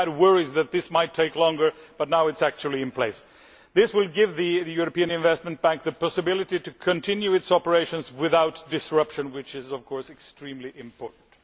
We had worries that it might take longer, but it is now in place. This will give the European Investment Bank the possibility to continue its operations without disruption, which is of course extremely important.